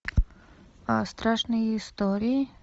страшные истории